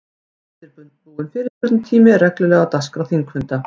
Óundirbúinn fyrirspurnatími er reglulega á dagskrá þingfunda.